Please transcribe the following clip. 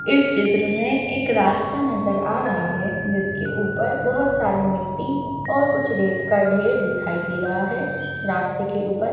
इस चित्र में एक रास्ता नजर आ राहा है जिसके उपर बोहोत सारी मिट्टी और कुछ रेत का ढेर दिखाई दे राहा है रस्ते के उपर --